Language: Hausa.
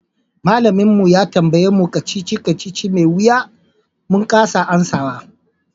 Malamin mu ya tambaye mu kacici-kacici mai wiya min kasa amsawa.